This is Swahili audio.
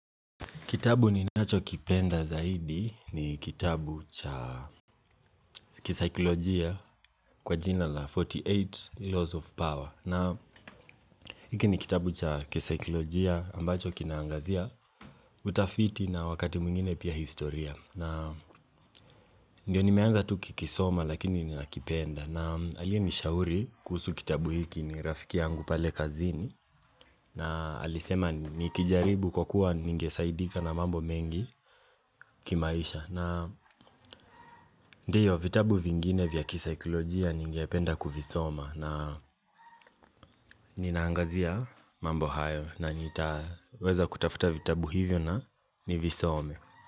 Kitabu ninacho kipenda zaidi ni kitabu cha kisaikolojia kwa jina la 48 Laws of Power. Na hiki ni kitabu cha kisikilojia ambacho kinaangazia utafiti na wakati mwingine pia historia. Na ndio nimeanza tu kukisoma lakini ni nakipenda. Na aliye nishauri kuhusu kitabu hiki ni rafiki yangu pale kazini na alisema nikijaribu kwa kuwa ningesaidika na mambo mengi kimaisha. Na ndiyo vitabu vingine vya kisaikilojia ningependa kuvisoma na ninaangazia mambo hayo na nitaweza kutafuta vitabu hivyo na nivisome.